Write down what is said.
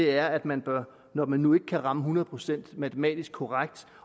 er at man når man nu ikke kan ramme det hundrede procent matematisk korrekt